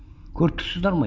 көріп тұрсыздар ма